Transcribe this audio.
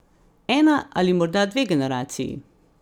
Ena ali morda dve generaciji!